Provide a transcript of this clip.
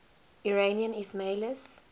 iranian ismailis